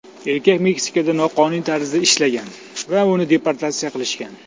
Erkak Meksikada noqonuniy tarzda ishlagan, va uni deportatsiya qilishgan.